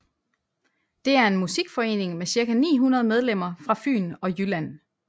Det er en musikforening med ca 900 medlemmer fra Fyn og Jylland